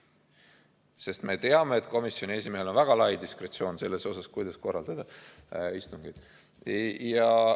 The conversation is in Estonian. Sest me teame, et komisjoni esimehel on väga lai diskretsioon selles osas, kuidas korraldada istungeid.